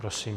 Prosím.